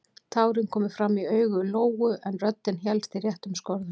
Tárin komu fram í augu Lóu en röddin hélst í réttum skorðum.